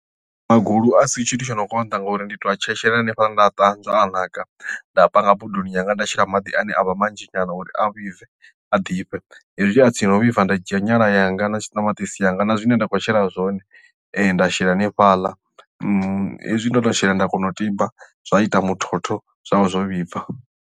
Magulu a si tshithu tsho no konḓa ngori ndi to a tshetshelela hanefhala nda a ṱanzwa a naka nda panga bodoni yanga nda shela maḓi ane a vha manzhi nyana uri a vhibve a ḓifhe hezwi a tsini no vhibva nda dzhia nyala yanga na ṱamaṱisi yanga na zwine nda khou shela zwone nda shela hanefhala hezwi ndo to shela nda kona u tiba zwa ita muthotho zwa vha zwo vhibva.